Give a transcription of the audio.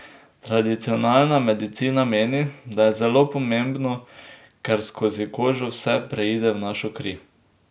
Tradicionalna medicina meni, da je zelo pomembno, ker skozi kožo vse preide v našo kri.